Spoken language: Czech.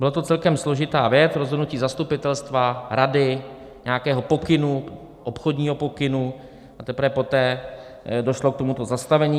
Byla to celkem složitá věc, rozhodnutí zastupitelstva, rady, nějakého pokynu, obchodního pokynu, a teprve poté došlo k tomuto zastavení.